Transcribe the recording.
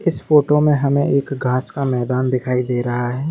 इस फोटो में हमे एक घास का मैदान दिखाई दे रहा है।